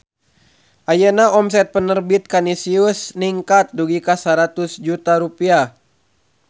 Ayeuna omset Penerbit Kanisius ningkat dugi ka 100 juta rupiah